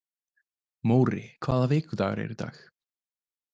Móri, hvaða vikudagur er í dag?